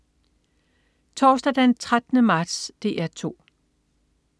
Torsdag den 13. marts - DR 2: